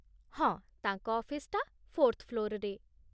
ହଁ, ତାଙ୍କ ଅଫିସ୍‌ଟା ଫୋର୍ଥ୍ ଫ୍ଲୋର୍‌ରେ ।